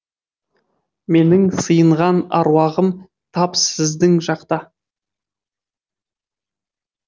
менің сиынған аруағым тап сіздің жақта